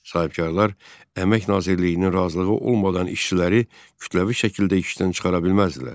Sahibkarlar əmək nazirliyinin razılığı olmadan işçiləri kütləvi şəkildə işdən çıxara bilməzdilər.